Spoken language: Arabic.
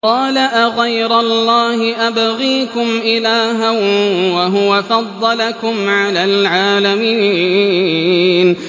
قَالَ أَغَيْرَ اللَّهِ أَبْغِيكُمْ إِلَٰهًا وَهُوَ فَضَّلَكُمْ عَلَى الْعَالَمِينَ